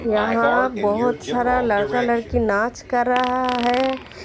यहाँ बोहोत सारा लड़का लड़की नाच कर रहा है।